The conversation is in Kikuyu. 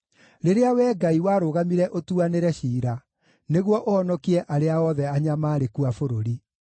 rĩrĩa Wee Ngai, warũgamire ũtuanĩre ciira, nĩguo ũhonokie arĩa othe anyamaarĩku a bũrũri.